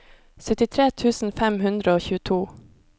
syttitre tusen fem hundre og tjueto